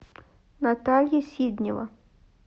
наталья сиднева